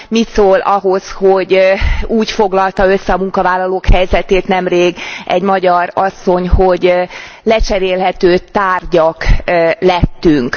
Mit szól ahhoz, hogy úgy foglalta össze a munkavállalók helyzetét nemrég egy magyar asszony, hogy lecserélhető tárgyak lettünk.